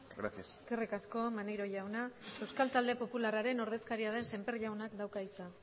gracias eskerrik asko maneiro jauna euskal talde popularraren ordezkaria den semper jaunak dauka hitza